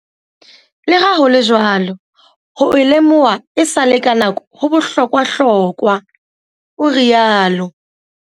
Le ha ho le jwalo, ho e lemoha esale ka nako ho bohlokwahlokwa, o riaolo.